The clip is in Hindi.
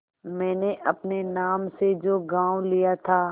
मैंने अपने नाम से जो गॉँव लिया था